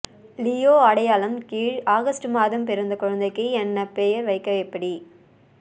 Leo அடையாளம் கீழ் August மாதம் பிறந்த குழந்தைக்கு என்ன பெயர் வைக்க எப்படி